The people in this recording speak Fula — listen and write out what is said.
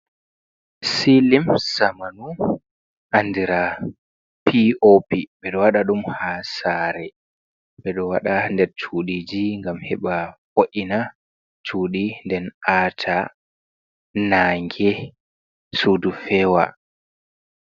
Silim zamanu andira POP. Ɓe ɗo waɗa ɗum ha saare. Ɓe ɗo wada nder cuudiji, ngam heɓa vo’ina cuudi, nden aata nange, suudu feewa.